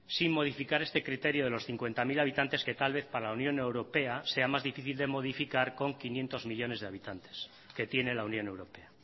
sin modificar este criterio de los cincuenta mil habitantes que tal vez para la unión europea sea más difícil de modificar con quinientos millónes de habitantes que tiene la unión europea